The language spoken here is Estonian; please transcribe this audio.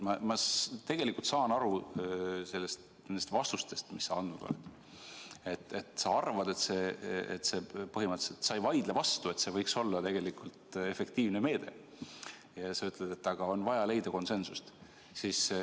Ma tegelikult saan nendest vastustest, mis sa andnud oled, aru nii, et sa põhimõtteliselt ei vaidle vastu, et see võiks olla efektiivne meede, aga sa ütled, et on vaja leida konsensus.